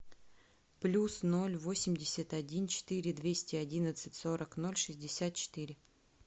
плюс ноль восемьдесят один четыре двести одиннадцать сорок ноль шестьдесят четыре